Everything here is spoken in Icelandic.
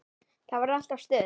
Það var alltaf stuð.